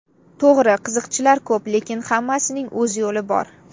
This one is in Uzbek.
To‘g‘ri, qiziqchilar ko‘p, lekin hammasining o‘z yo‘li bor.